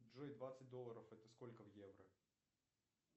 джой двадцать долларов это сколько в евро